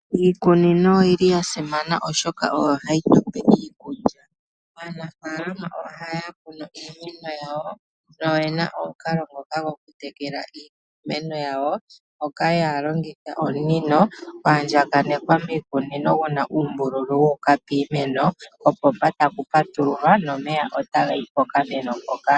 Iikunino oyasimana oshoka oyo hayi tupe iikulya. Aanafalama ohaya kunu iimeno yawo noyena omukalo gwokutekela iimeno yawo moka haya longitha omunino gwaandjakanekwa miikunino guna uumbululu wuuka piimeno, kopomba ngele kwapatululwa omeya ohaga yi pokameno mpoka.